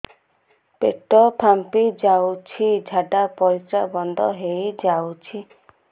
ପେଟ ଫାମ୍ପି ଯାଉଛି ଝାଡା ପରିଶ୍ରା ବନ୍ଦ ହେଇ ଯାଉଛି